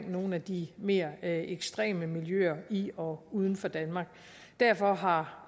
nogle af de mere ekstreme miljøer i og uden for danmark derfor har